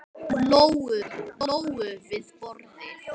Lóu við borðið.